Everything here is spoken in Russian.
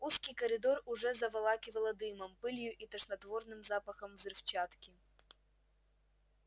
узкий коридор уже заволакивало дымом пылью и тошнотворным запахом взрывчатки